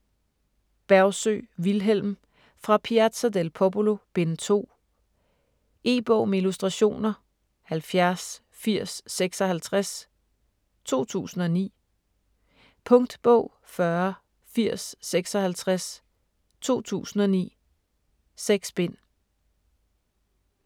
Bergsøe, Vilhelm: Fra Piazza del Popolo: Bind 2 E-bog med illustrationer 708056 2009. Punktbog 408056 2009. 6 bind.